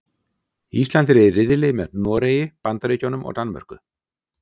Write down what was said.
Ísland er í riðli með Noregi, Bandaríkjunum og Danmörku.